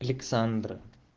александра